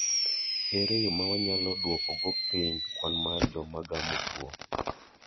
Ere yo ma wanyalo duoko go piny kwan mar joma gamo tuo?